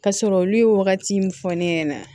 Ka sɔrɔ olu ye wagati min fɔ ne ɲɛna